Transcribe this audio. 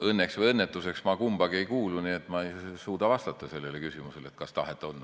Õnneks või õnnetuseks ma kummassegi ei kuulu, nii et ma ei suuda vastata sellele küsimusele, kas tahet on.